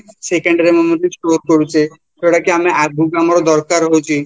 secondary memory store କରୁଛି ଯୋଉଁଟାକି ଆମର ଆଗକୁ ଦରକାର ହଉଛି